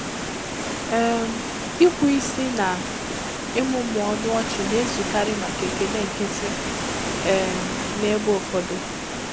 um Ikwe isi na ịmụmụ ọnụ ọchị na-ezukarị maka ekele nkịtị um n'ebe ụfọdụ.